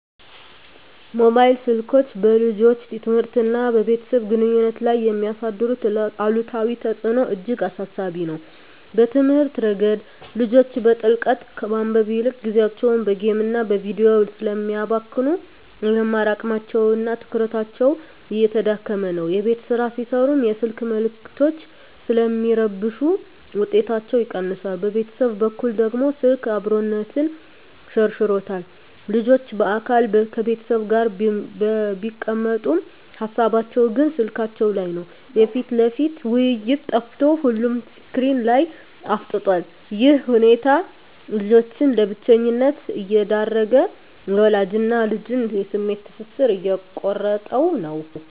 ሞባይል ስልኮች በልጆች ትምህርትና በቤተሰብ ግንኙነት ላይ የሚያሳድሩት አሉታዊ ተጽዕኖ እጅግ አሳሳቢ ነው። በትምህርት ረገድ፣ ልጆች በጥልቀት ከማንበብ ይልቅ ጊዜያቸውን በጌምና በቪዲዮ ስለሚያባክኑ፣ የመማር አቅማቸውና ትኩረታቸው እየተዳከመ ነው። የቤት ሥራ ሲሠሩም የስልክ መልዕክቶች ስለሚረብሹ ውጤታቸው ይቀንሳል። በቤተሰብ በኩል ደግሞ፣ ስልክ "አብሮነትን" ሸርሽሮታል። ልጆች በአካል ከቤተሰብ ጋር ቢቀመጡም፣ ሃሳባቸው ግን ስልካቸው ላይ ነው። የፊት ለፊት ውይይት ጠፍቶ ሁሉም ስክሪን ላይ አፍጥጧል። ይህ ሁኔታ ልጆችን ለብቸኝነት እየዳረገ፣ የወላጅና ልጅን የስሜት ትስስር እየቆረጠው ነው።